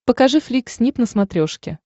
покажи флик снип на смотрешке